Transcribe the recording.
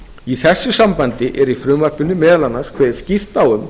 í þessu sambandi er í frumvarpinu meðal annars kveðið skýrt á um